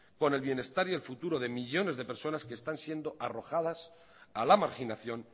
con el bienestar y el futuro de millónes de personas que están siendo arrojadas a la marginación